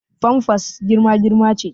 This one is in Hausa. Famfas girma girma ce